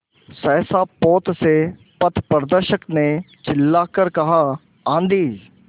सहसा पोत से पथप्रदर्शक ने चिल्लाकर कहा आँधी